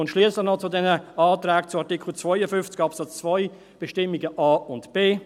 Schliesslich noch zu den Anträgen zu Artikel 52 Absatz 2 Buchstabe a und b